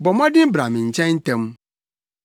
Bɔ mmɔden bra me nkyɛn ntɛm.